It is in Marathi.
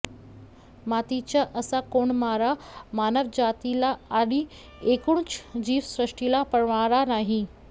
मातीचा असा कोंडमारा मानवजातीला आणि एकूणच जीवसृष्टीला परवडणारा नाही